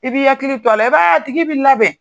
I b'i ya hakili to a la i b'a ye atigi bi labɛn.